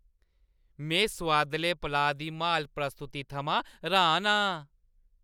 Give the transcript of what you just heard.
में सोआदलै पलाऽ दी म्हाल प्रस्तुति थमां र्‌हान आं।